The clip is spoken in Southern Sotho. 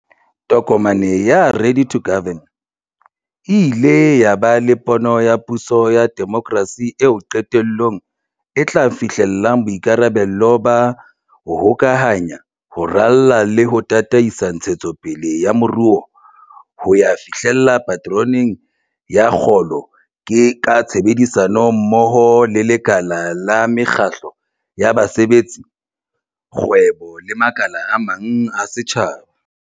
Tokomane ya 'Ready to Govern' e ile ya ba le pono ya puso ya demokrasi eo qetellong e tla fihlella boikarabelo ba 'ho hokahanya, ho rala le ho tataisa ntshetsopele ya moruo ho ya fihlella paterone ya kgolo ka tshebedisano mmoho le lekala la mekgatlo ya basebetsi, kgwebo le makala a mang a setjhaba.